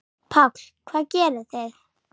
Páll: Hvað gerið þið?